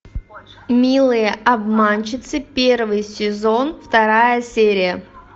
милые обманщицы первый сезон вторая серия